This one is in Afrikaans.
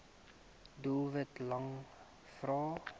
doelwit lang vrae